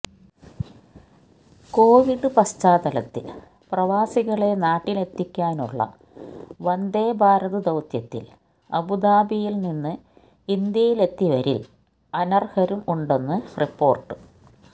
Covid പശ്ചാത്തലത്തിൽ പ്രവാസികളെ നാട്ടിലെത്തിക്കാനുള്ള വന്ദേ ഭാരത് ദൌത്യത്തില് അബുദാബിയില് നിന്ന് ഇന്ത്യയിലെത്തിവരില് അനര്ഹരും ഉണ്ടെന്ന് റിപ്പോര്ട്ട്